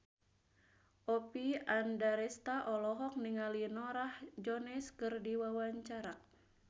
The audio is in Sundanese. Oppie Andaresta olohok ningali Norah Jones keur diwawancara